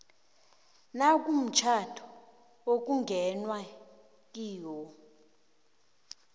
nakumtjhado okungenwe kiwo